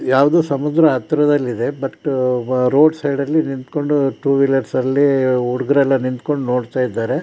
ಯಾವುದೊ ಸಮುದ್ರ ಹತ್ರದಲ್ಲಿದೆ ಬಟ್ ರೋಡ್ ಸೈಡ್ ಅಲ್ಲಿ ನಿಂತ್ಕೊಂಡ್ ಟೂ ವಿಲೀರ್ಸ್ ಅಲ್ಲಿ ಹುಡುಗರೆಲ್ಲ ನಿಂತ್ಕೊಂಡ್ ನೋಡ್ತಾ ಇದ್ದಾರೆ